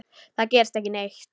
Það gerist ekki neitt.